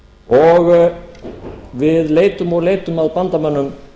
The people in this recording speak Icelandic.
önnur við leitum og leitum að bandamönnum